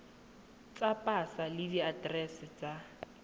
tsa pasa le diaterese tsa